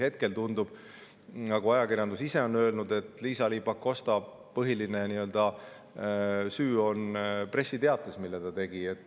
Hetkel tundub, nagu ajakirjandus ise on öelnud, et Liisa-Ly Pakosta nii-öelda põhiline süü pressiteates, mille ta tegi.